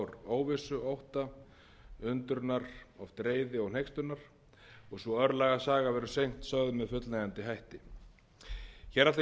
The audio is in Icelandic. óvissu ótta undrunar oft reiði og hneykslunar og sú örlagasaga verður seint sögð með fullnægjandi hætti hér ætla ég að